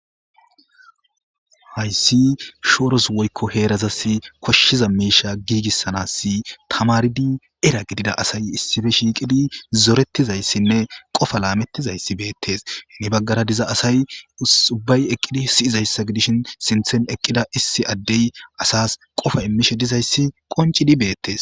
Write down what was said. Hayssi shooros woykko heerazas koshshiza miisha giigissanass tamaridi era gidida asay issife shiiqidi zorettizayssinne qofa laamettizayssi beettesni baggara diza asay subbay eqqidi siyizayssa gidishin sinthen eqqida issi addey asas qofa immishe dizayssi qoncidi beettes.